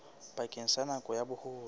bakeng sa nako ya boholo